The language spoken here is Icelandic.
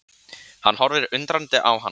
Hann horfir undrandi á hana.